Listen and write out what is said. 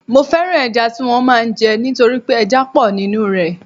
Mo fẹ́ràn ẹja tí wọ́n máa ń jẹ nítorí pé ẹja pọ̀ nínú rẹ̀